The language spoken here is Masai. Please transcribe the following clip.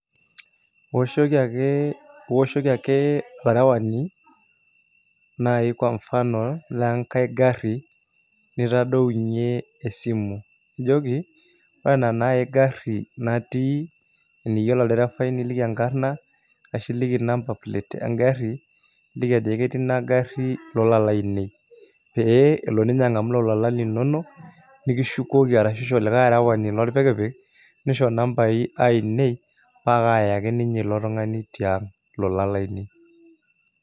Ioshoki ake olarewani naai kwa mfano le enkae garri nitadounyie esimu ajoki ore ena naai garri natii teniyiolo oldirifai niliki enkarna ashu iliki number plate engarri niliki ajoki ketii ina garri ilolan laainei pee elo ninye ang'amu lelo oolan linonok nikishukoki ashu isho likae arewani lorpikipik nisho inambaai ainei paa akaayaki ninye ilo tung'ani tiang' ilolan laainei.